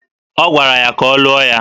Ọ gwara ya ka ọ lụọ ya